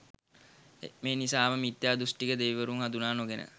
මේ නිසා ම මිථ්‍යාදෘෂ්ටික දෙවිවරුන් හඳුනා නොගෙන